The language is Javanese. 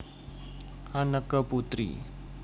Anneke Putri